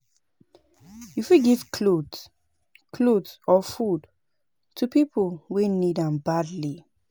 You fit give cloth cloth or food to pipo wey need am badly